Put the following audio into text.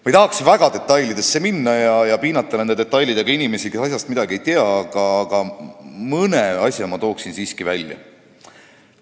Ma ei taha väga detailidesse minna ja piinata nende detailidega inimesi, kes asjast midagi ei tea, aga mõne asja ma tooksin siiski välja.